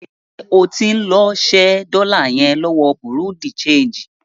Ṣé o tí ń lọ ṣẹ́ dọ́lá yẹn lọ́wọ bùrúdì ṣeègì?